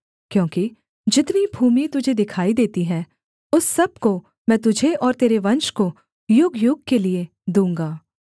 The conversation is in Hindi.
क्योंकि जितनी भूमि तुझे दिखाई देती है उस सब को मैं तुझे और तेरे वंश को युगयुग के लिये दूँगा